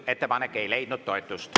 Ettepanek ei leidnud toetust.